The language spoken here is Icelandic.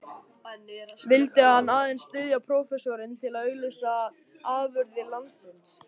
Vildi hann aðeins styðja prófessorinn til að auglýsa afurðir landsins?